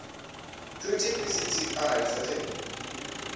treaty pct arali zwo tea